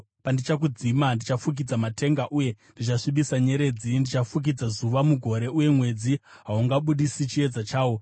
Pandichakudzima, ndichafukidza matenga uye ndichasvibisa nyeredzi; ndichafukidza zuva mugore, uye mwedzi haungabudisi chiedza chawo.